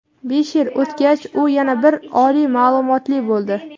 Besh yil o‘tgach, u yana bir oliy ma’lumotli bo‘ldi.